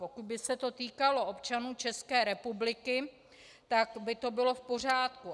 Pokud by se to týkalo občanů České republiky, tak by to bylo v pořádku.